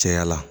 Caya la